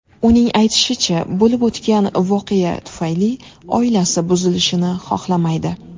Uning aytishicha, bo‘lib o‘tgan voqea tufayli oilasi buzilishini xohlamaydi.